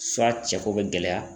suwa cɛko be gɛlɛya